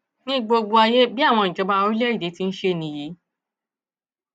ní gbogbo ayé bí àwọn ìjọba orílẹèdè ti ń ṣe nìyí